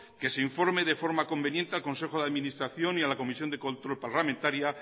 que se informe de forma conveniente al consejo de administración y a la comisión de control parlamentaria